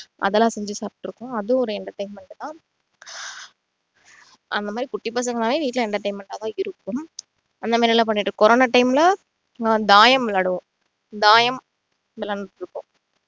அதெல்லாம் செஞ்சு சாப்பிட்டு இருக்கோம் அதுவும் ஒரு entertainment தான் அஹ் அந்த மாதிரி குட்டி பசங்கன்னாலே வீட்டுல entertainment ஆ தான் இருக்கும் அந்த மாதிரிலாம் பண்ணிட்டு இருப்போம் கொரொனா time ல நாங்க தாயம் விளையாடுவோம் தாயம் விளையாடிட்டு இருப்போம்